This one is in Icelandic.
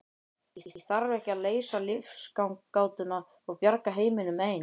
Ég þarf ekki að leysa lífsgátuna og bjarga heiminum ein.